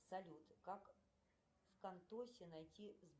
салют как в кантохе найти